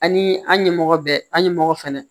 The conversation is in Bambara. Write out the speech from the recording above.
Ani an ɲɛmɔgɔ bɛ an ɲɛmɔgɔ fɛnɛ ye